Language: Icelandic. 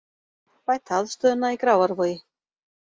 Bæta aðstöðuna í Grafarvogi